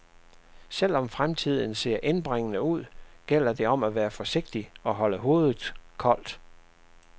Selv om fremtiden ser indbringende ud, gælder det om at være forsigtig og holde hovedet koldt.